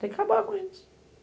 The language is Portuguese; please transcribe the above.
Tem que acabar com isso.